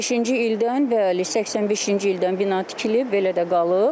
85-ci ildən, bəli, 85-ci ildən bina tikilib, belə də qalıb.